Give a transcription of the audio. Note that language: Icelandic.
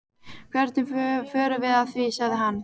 Hvernig förum við að því? sagði hann.